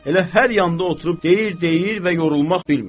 Elə hər yanda oturub deyir, deyir və yorulmaq bilmir.